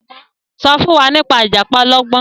so fún wá nípa ìjàpá ọlọgbọn.